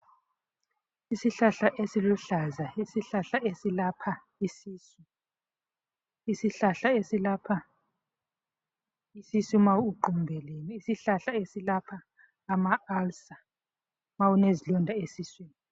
Isihlahla esiluhlaza. Isihlahla esilapha isisu. Isihlahla esilapha isisu ma uqumbelene. Isihlahla esilapha ama ulcer, ma unezilonda esiswini.